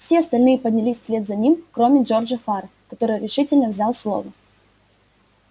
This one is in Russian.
все остальные поднялись вслед за ним кроме джорджа фара который решительно взял слово